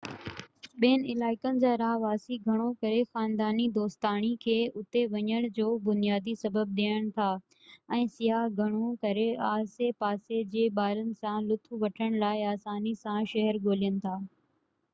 ٻين علائقن جا رهواسي گهڻو ڪري خانداني-دوستاڻي کي اتي وڃڻ جو بنيادي سبب ڏين ٿا ۽ سياح گهڻو ڪري آسي پاسي جي ٻارن سان لطف وٺڻ لاءِ آساني سان شهر ڳولين ٿا